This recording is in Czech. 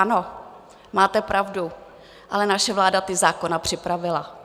Ano, máte pravdu, ale naše vláda ty zákony připravila.